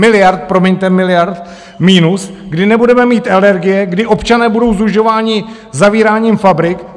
Miliard, promiňte, miliard minus, kdy nebudeme mít energie, kdy občané budou sužováni zavíráním fabrik?